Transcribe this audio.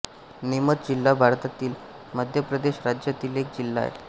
नीमच जिल्हा भारतातील मध्य प्रदेश राज्यातील एक जिल्हा आहे